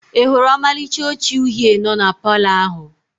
I hụrụ ọmalịcha oche uhie no na Palọ ahụ?